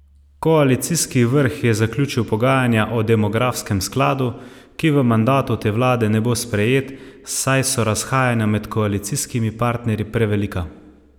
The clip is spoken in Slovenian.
Koalicijski vrh je zaključil pogajanja o demografskem skladu, ki v mandatu te vlade ne bo sprejet, saj so razhajanja med koalicijskimi partnerji prevelika.